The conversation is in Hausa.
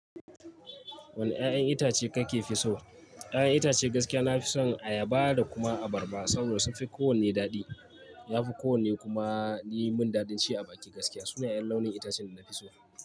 Wane 'ya'yan itace kake fi so? 'Ya'yan itacen gaskiya nafi son ayaba da kuma abarba saboda sunfi kowanne daɗi. Yafi kowanne kuma yi mun dadin ci a bakin gaskiya. Suna 'yan launin itacen da nafi so.